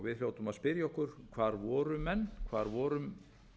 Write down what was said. við hljótum að spyrja okkur hvar voru menn hvar vorum